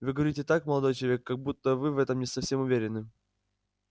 вы говорите так молодой человек как будто вы в этом не совсем уверены